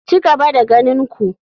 Ci gaba da ganin ku.